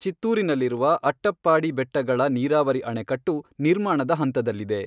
ಚಿತ್ತೂರಿನಲ್ಲಿರುವ ಅಟ್ಟಪ್ಪಾಡಿ ಬೆಟ್ಟಗಳ ನೀರಾವರಿ ಅಣೆಕಟ್ಟು ನಿರ್ಮಾಣದ ಹಂತದಲ್ಲಿದೆ.